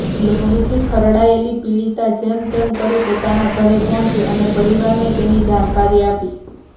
લોહીથી ખરડાયેલી પીડિતા જેમ તેમ કરી પોતાના ઘરે પહોંચી અને પરિવારને તેની જાણકારી આપી